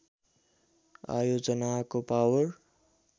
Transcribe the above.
आयोजनाको power